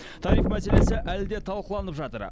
тариф мәселесі әлі де талқыланып жатыр